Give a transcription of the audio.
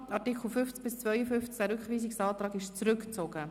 Zu den Artikeln 50 bis 52: Der Rückweisungsantrag wurde zurückgezogen.